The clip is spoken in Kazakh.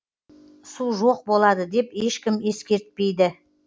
су жоқ болады деп ешкім ескертпейді